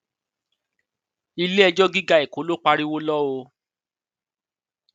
iléẹjọ gíga èkó ló pariwo lọ o